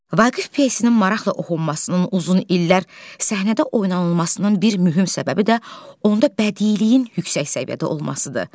Vaqif pyesinin maraqla oxunmasının uzun illər səhnədə oynanılmasının bir mühüm səbəbi də onda bədiliyin yüksək səviyyədə olmasıdır.